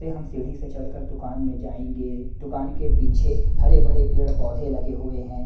अ हम सीढ़ी से चढ़कर दुकान में जाएंगे दुकान के पीछे हरे बड़े पेड़-पौधे लगे हुए हैं।